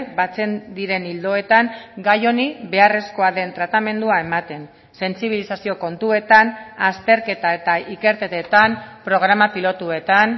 batzen diren ildoetan gai honi beharrezkoa den tratamendua ematen sentsibilizazio kontuetan azterketa eta ikerketetan programa pilotuetan